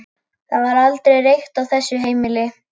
Það var aldrei reykt á þessu heimili.